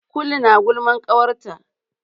Kulu na gulman ƙawarta.